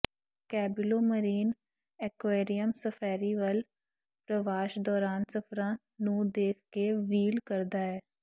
ਕੈਬਿਲੋ marine aquarium safari whale ਪ੍ਰਵਾਸ ਦੌਰਾਨ ਸਫ਼ਰਾਂ ਨੂੰ ਦੇਖ ਕੇ ਵ੍ਹੀਲ ਕਰਦਾ ਹੈ